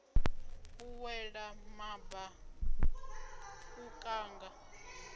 u wela maba u kanga